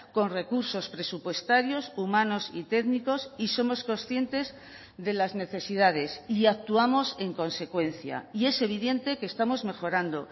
con recursos presupuestarios humanos y técnicos y somos conscientes de las necesidades y actuamos en consecuencia y es evidente que estamos mejorando